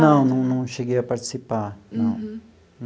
Não, não cheguei a participar, não.